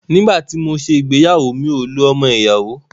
Nígbà tí mọ ṣé ìgbéyàwó, mi ò lo ọmọ ìyàwó.